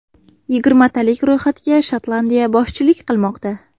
Yigirmatalik ro‘yxatga Shotlandiya boshchilik qilmoqda.